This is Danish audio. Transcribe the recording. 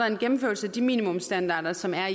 en gennemførelse af de minimumsstandarder som er